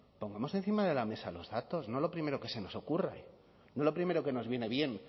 pongamos encima de la mesa los datos no lo primero que se nos ocurre no lo primero que nos viene bien